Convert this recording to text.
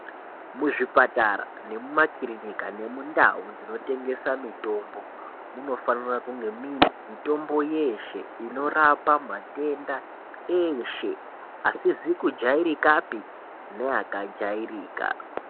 Muzvipatara nekumakirinika nemundau dzinotengesa mitombo, munofanira kunga muine mitombo yeeshe inorapa matenda eeshe ,asizi kujairikapi neakajairika.